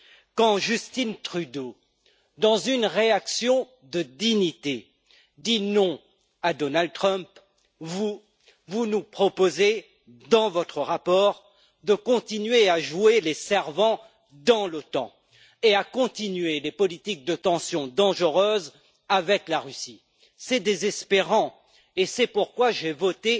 Quand Justin Trudeau, dans une réaction de dignité, dit non à Donald Trump, vous, vous nous proposez, dans votre rapport, de continuer à jouer les servants dans l'OTAN et à continuer de dangereuses politiques de tension avec la Russie. C'est désespérant, et c'est pourquoi j'ai voté